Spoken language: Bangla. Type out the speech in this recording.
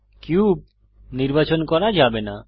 কিউব নির্বাচন করা যাবে না